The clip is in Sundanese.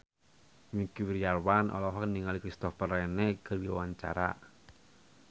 Wingky Wiryawan olohok ningali Christopher Reeve keur diwawancara